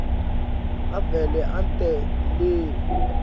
avele ente le